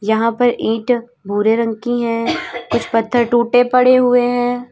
यहां पर ईंट भूरे रंग की हैं कुछ पत्थर टूटे पड़े हुए हैं।